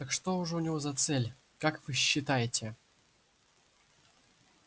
так что же у него за цель как вы считаете